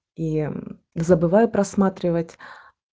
забываю просматривать